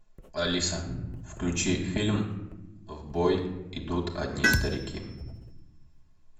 алиса включи фильм в бой идут одни старики